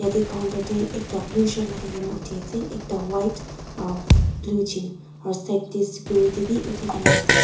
yate counter te ekta blue shirt lagai kena uthi ase ekta white aro blue jean aro side te security bi uthi kena ase.